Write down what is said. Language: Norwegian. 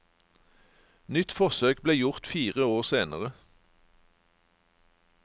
Nytt forsøk ble gjort fire år senere.